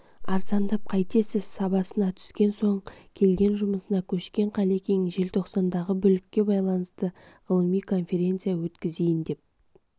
арзандап қайтесіз сабасына түскен соң келген жұмысына көшкен қалекең желтоқсандағы бүлікке байланысты ғылыми конференция өткізейін деп